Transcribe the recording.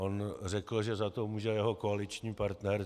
On řekl, že za to může jeho koaliční partner.